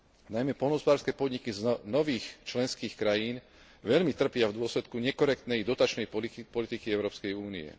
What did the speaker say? Najmä poľnohospodárske podniky z nových členských krajín veľmi trpia v dôsledku nekorektnej dotačnej politiky Európskej únie.